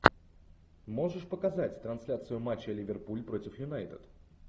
можешь показать трансляцию матча ливерпуль против юнайтед